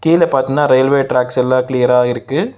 இதுல பாத்தினா railway tracks எல்லா கிளியரா இருக்கு.